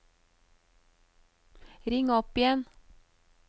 ring opp igjen